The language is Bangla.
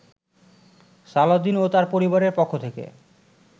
সালাউদ্দিন ও তার পরিবারের পক্ষ থেকে